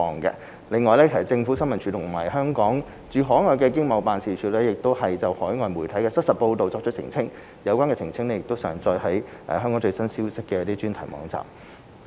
此外，政府新聞處和香港駐海外的經濟貿易辦事處亦就海外媒體的失實報道作出澄清，有關的澄清已上載於"香港最新消息"專題網頁。